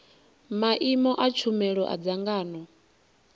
maimo a tshumelo a dzangano